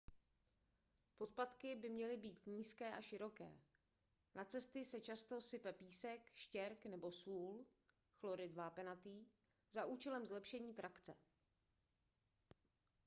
podpatky by měly být nízké a široké. na cesty se často sype písek štěrk nebo sůl chlorid vápenatý za účelem zlepšení trakce